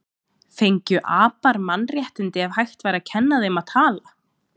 Fengju apar mannréttindi ef hægt væri að kenna þeim að tala?